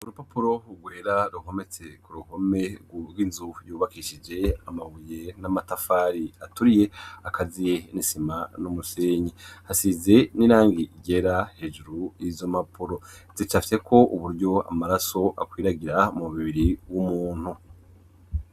Urupapuro rwera ruhometse ku ruhome rw'inzu yubakishije amabuye n'amatafari aturiye akaziye n'isima n'umusenyi. Hasize n'irangi ryera. Hejuru y'izo mapuro zicafyeko uburyo amaraso akwiragira mu mubiri w'umuntu.